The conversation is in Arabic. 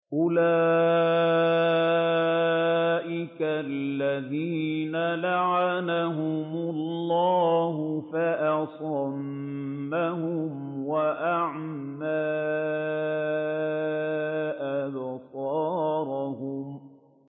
أُولَٰئِكَ الَّذِينَ لَعَنَهُمُ اللَّهُ فَأَصَمَّهُمْ وَأَعْمَىٰ أَبْصَارَهُمْ